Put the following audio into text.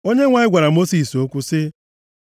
Onyenwe anyị gwara Mosis okwu sị,